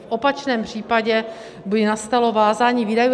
V opačném případě by nastalo vázání výdajů.